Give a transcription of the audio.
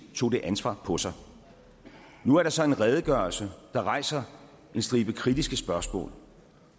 tog det ansvar på sig nu er der så en redegørelse der rejser en stribe kritiske spørgsmål